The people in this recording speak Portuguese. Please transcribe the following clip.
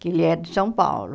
Que ele é de São Paulo.